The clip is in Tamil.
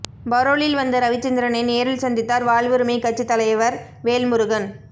பரோலில் வந்த ரவிச்சந்திரனை நேரில் சந்தித்தார் வாழ்வுரிமைக் கட்சித் தலைவர் வேல்முருகன்